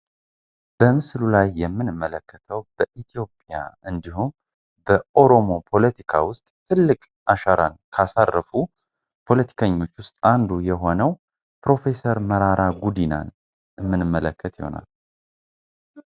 በምስሉ ላይ የምንመለከተው በኢትዮጵያ እንዲሁም በኦሮሞ ፖለቲካ ውስጥ ትልቅ አሻራን ካሳረፉ ፖለቲከኞች ውስጥ አንዱ የሆነው ፕሮፌሰር መራራ ጉዲናን እምንመለከት ይሆናል።